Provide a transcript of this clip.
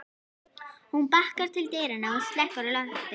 Hún bakkar til dyranna og slekkur í loftinu.